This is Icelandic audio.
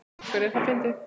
Af hverju er það fyndið?